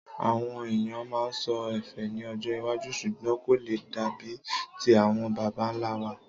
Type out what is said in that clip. Àwon èèyàn maa so ẹ́fẹ́ ní ọjọ́ iwájú sùgbón kò le dàbi ti àwon babanlá wa.